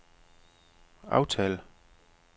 aftal